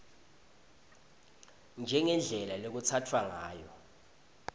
njengendlela lekutsatfwa ngayo